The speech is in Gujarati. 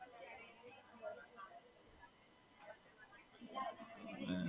હાં, છે ને કાકા, બધા ત્યાં જ રહે છે દશરથ માં જ.